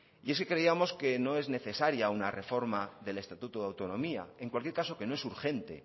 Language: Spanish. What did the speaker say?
y es que creíamos que no es necesaria una reforma del estatuto de autonomía en cualquier caso que no es urgente